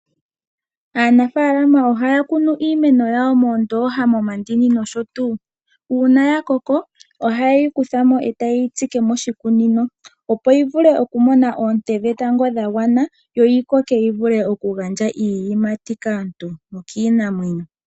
Aanafaalama ohaya kunu iimeno yawo moondooha, momandini nosho tuu. Uuna ya koko oha yeyi kuthamo etaye yi tsike moshikunino, opo yi vule oku mona oonte dhetango dha gwana, yo yi koke yi vule okugandja iiyimati kaantu nokiinamwenyo.